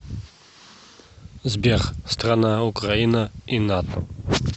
сбер страна украина и нато